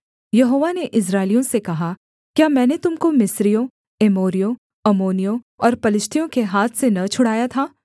यहोवा ने इस्राएलियों से कहा क्या मैंने तुम को मिस्रियों एमोरियों अम्मोनियों और पलिश्तियों के हाथ से न छुड़ाया था